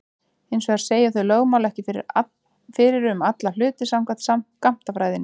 Hins vegar segja þau lögmál ekki fyrir um alla hluti samkvæmt skammtafræðinni.